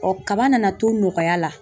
kaba nana to nɔgɔya la.